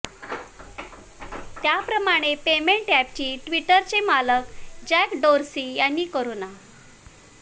त्या प्रमाणे payment app आणि ट्विटरचे मालक जॅक डोर्सी यांनी कोरोना